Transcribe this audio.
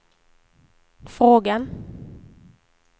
frågan